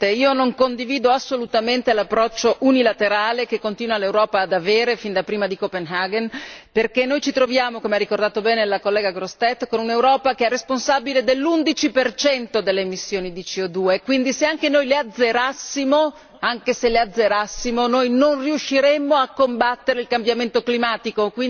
Signor Presidente, onorevoli colleghi, non condivido assolutamente l'approccio unilaterale che l'Europa continua ad avere fin da prima di Copenaghen perché noi ci troviamo, come ha ricordato bene la collega Grossetête, con un'Europa che è responsabile dell'undici percento delle emissioni di CO quindi se anche noi le azzerassimo, anche se le azzerassimo, non riusciremmo a combattere il cambiamento climatico.